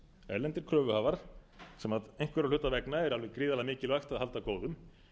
erlendir kröfuhafar sem einhverra hluta vegna er alveg gríðarlega mikilvægt að halda góðum